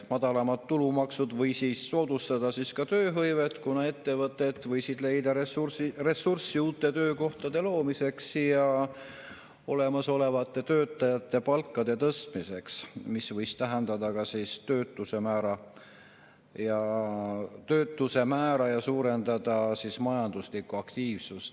Madalam tulumaks võis soodustada ka tööhõivet, kuna ettevõtted võisid leida ressurssi uute töökohtade loomiseks ja olemasolevate töötajate palkade tõstmiseks, mis võis töötust ja suurendada majanduslikku aktiivsust.